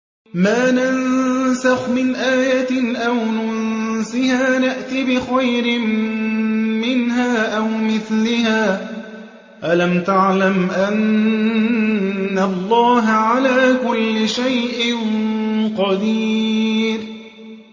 ۞ مَا نَنسَخْ مِنْ آيَةٍ أَوْ نُنسِهَا نَأْتِ بِخَيْرٍ مِّنْهَا أَوْ مِثْلِهَا ۗ أَلَمْ تَعْلَمْ أَنَّ اللَّهَ عَلَىٰ كُلِّ شَيْءٍ قَدِيرٌ